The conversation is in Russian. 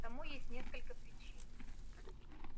тому есть несколько причин